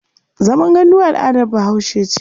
Zaman gandu al'adar Bahaushe ce.